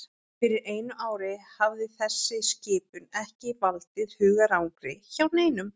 Fyrir einu ári hefði þessi skipun ekki valdið hugarangri hjá neinum.